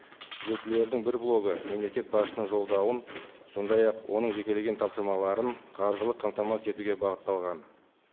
түзетулердің бір блогы мемлекет басшысының жолдауын сондай ақ оның жекелеген тапсырмаларын қаржылық қамтамасыз етуге бағытталған